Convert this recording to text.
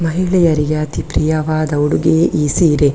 ಮಹಿಳೆಯರಿಗೆ ಅತೀ ಪ್ರೀಯವಾದ ಉಡುಗೆಯೇ ಈ ಸೀರೆ .